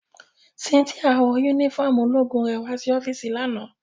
Cynthia wọ unifọmú ologun rẹ wa si ọfiisi lana.